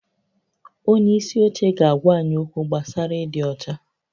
Onye isi oche ga-agwa anyị okwu gbasara ịdị ọcha